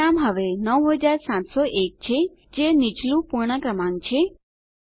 પરિણામ હવે 9701 છે જે નીચલું પૂર્ણ ક્રમાંક છે